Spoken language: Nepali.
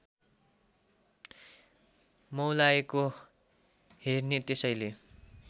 मौलाएको हेर्ने त्यसैले